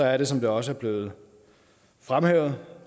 er det som det også er blevet fremhævet